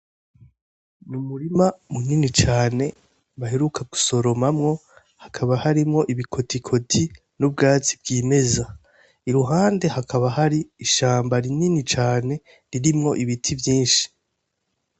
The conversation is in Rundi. Mu murima munini cane bahiruka gusoromamwo hakaba harimwo ibikotikoti n'ubwatsi bw'imeza iruhande hakaba hari ishamba rinini cane ririmwo ibiti vyinshi.